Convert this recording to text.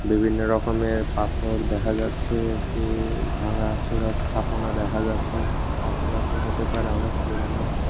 বিভিন্ন রকমের পাথর দেখা যাচ্ছে একটি ভাঙাচোরা স্থাপনা দেখা যাচ্ছে স্থাপনাটি হতে পারে অনেক পুরোনো।